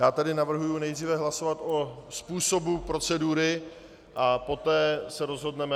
Já tedy navrhuji nejdříve hlasovat o způsobu procedury a poté se rozhodneme.